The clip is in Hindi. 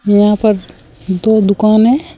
यहां पर दो दुकान है।